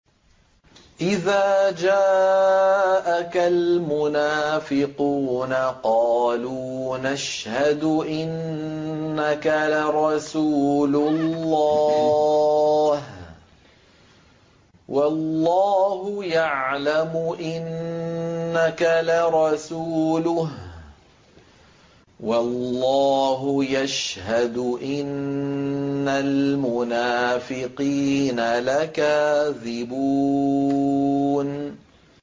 إِذَا جَاءَكَ الْمُنَافِقُونَ قَالُوا نَشْهَدُ إِنَّكَ لَرَسُولُ اللَّهِ ۗ وَاللَّهُ يَعْلَمُ إِنَّكَ لَرَسُولُهُ وَاللَّهُ يَشْهَدُ إِنَّ الْمُنَافِقِينَ لَكَاذِبُونَ